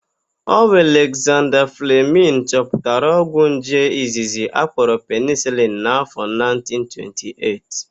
Ọ bụ Alekzanda Flemịn chọpụtara ogwụ nje izizi akpọrọ penisilin n'áfọ̀ 1928.